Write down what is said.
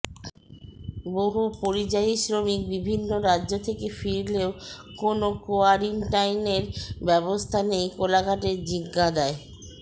বহু পরিযায়ী শ্রমিক বিভিন্ন রাজ্য থেকে ফিরলেও কোন কোয়ারিন্টাইনের ব্যবস্থা নেই কোলাঘাটের জিঞাদায়